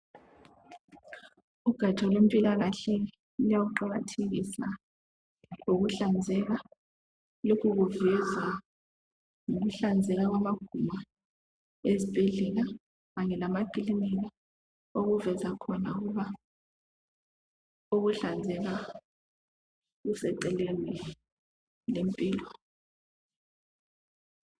Ugatsha lwempilakahle luya kuqakathekisa ukuhlanzeka. Lokhu kuveza ukuhlanzeka kwamagumbi ezibhedlela kanye lamakilinika okuveza khona ukuba ukuhlanzeka kuseceleni lempilo.